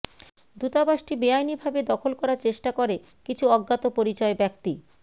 দূতাবাসটি বেআইনিভাবে দখল করার চেষ্টা করে কিছু অজ্ঞাত পরিচয় ব্যক্তি